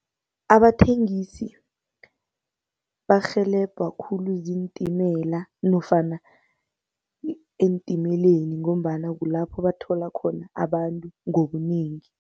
Abathengisi barhelebha khulu ziintimela nofana eentimeleni, ngombana kulapho bathola khona abantu ngobunengi.